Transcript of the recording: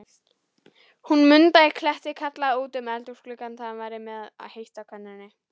Hún Munda í Kletti kallaði út um eldhúsgluggann, að hún væri með heitt á könnunni.